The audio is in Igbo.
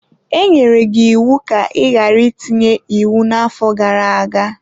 E nyere gị iwu ka ị ghara itinye iwu n'afọ gara aga!